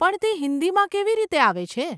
પણ તે હિંદીમાં કેવી રીતે આવે છે?